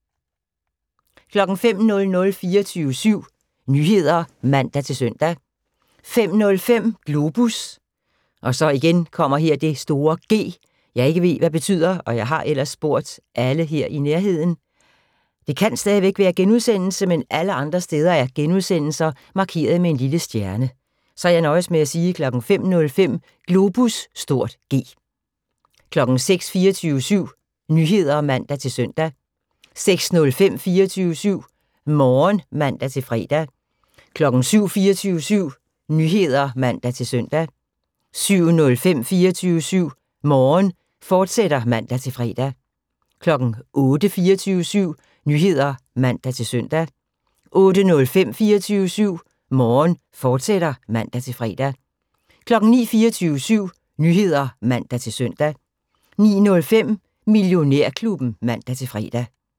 05:00: 24syv Nyheder (man-søn) 05:05: Globus (G) 06:00: 24syv Nyheder (man-søn) 06:05: 24syv Morgen (man-fre) 07:00: 24syv Nyheder (man-søn) 07:05: 24syv Morgen, fortsat (man-fre) 08:00: 24syv Nyheder (man-søn) 08:05: 24syv Morgen, fortsat (man-fre) 09:00: 24syv Nyheder (man-søn) 09:05: Millionærklubben (man-fre)